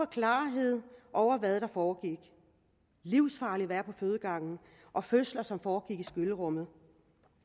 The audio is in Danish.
klarhed over hvad der foregik livsfarligt at være på fødegangen fødsler som foregik i skyllerummet